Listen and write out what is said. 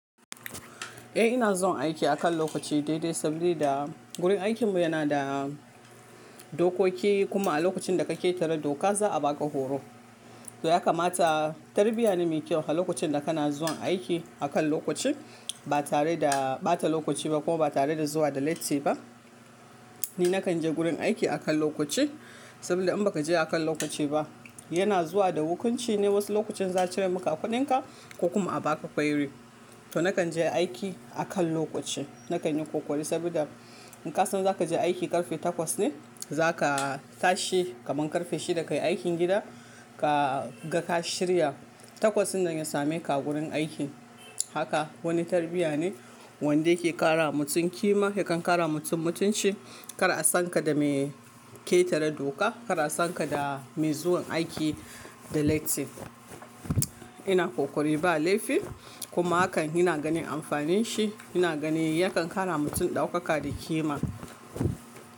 Eh ina zuwan aiki akan lokaci daidai saboda wurin aikin mu yana da dokoki kuma a lokacin da ka ƙetare doka za a baka horo. To ya kamata tarbiyya ne mai kyau a lokacin da kana zuwan aiki akan lokaci ba tare da ɓata lokaci ba kuma ba tare da zuwa da latti ba. Ni nakan je gurin aiki akan lokaci saboda in baka je akan lokaci ba yana zuwa da hukunci ne wasu lokacin za a cire maka a kuɗinka ko kuma a baka query. To nakan je aiki akan lokaci, nakan yi ƙoƙari saboda in ka san zaka je aiki ƙarfe takwas ne zaka tashi kaman ƙarfe shida ka yi aikin gida ka ga ka shirya takwas in nan ya sameka a gurin aiki. Haka wani tarbiyya ne wanda yake ƙara wa mutum ƙima yakan ƙara wa mutum mutunci. Kar a san ka da mai ƙetare doka, kar a san ka da mai zuwan aiki da latti ina ƙoƙari ba laifi kuma hakan ina ganin amfanin shi ina ganin yakan ƙara wa mutum ɗaukaka da ƙima.